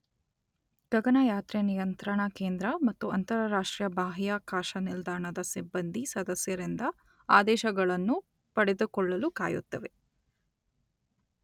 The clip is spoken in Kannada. ಗಗನಯಾತ್ರೆ ನಿಯಂತ್ರಣ ಕೇಂದ್ರ ಮತ್ತು ಅಂತರರಾಷ್ಟ್ರೀಯ ಬಾಹ್ಯಾಕಾಶ ನಿಲ್ದಾಣದ ಸಿಬ್ಬಂದಿ ಸದಸ್ಯರಿಂದ ಆದೇಶಗಳನ್ನು ಪಡೆದುಕೊಳ್ಳಲು ಕಾಯುತ್ತವೆ